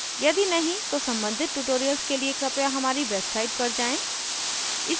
यदि नहीं तो सम्बंधित tutorials के लिए कृपया हमारी website पर जाएँ